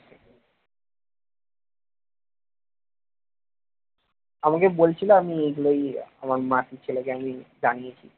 আমাকে বলছিল আমি এগুলোই আমার মাসির ছেলেকে আমি জানিয়েছি